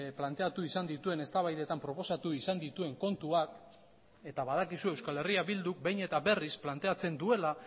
planteatu izan dituen eztabaidetan proposatu izan dituen kontuak eta badakizu euskal herria bilduk behin eta berriz planteatzen duela